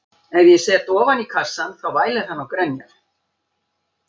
Ef ég set hann ofan í kassann þá vælir hann og grenjar.